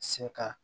Se ka